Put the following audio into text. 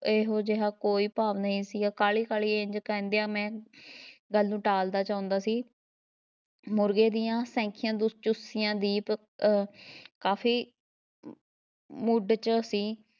ਇਹੋ ਜਿਹਾ ਕੋਈ ਭਾਵ ਨਹੀਂ ਸੀ ਕਾਹਲ਼ੀ-ਕਾਹਲ਼ੀ ਇੰਝ ਕਹਿੰਦਿਆਂ ਮੈਂ ਗੱਲ ਨੂੰ ਟਾਲ਼ਦਾ ਚਾਹੁੰਦਾ ਸੀ ਮੁਰਗੇ ਦੀਆਂ ਸੈਂਖੀਆਂ ਦੀਪ ਅਹ ਕਾਫ਼ੀ ਮੁਡ ‘ਚ ਸੀ